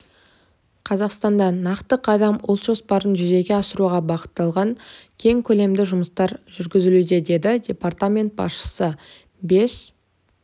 қазақстанда нақты қадам ұлт жоспарын жүзеге асыруға бағытталған кең көлемді жұмыстар жүргізілуде деді департамент басшысы бес